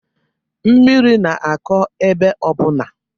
Mmiri na-akọ ebe ọbụna.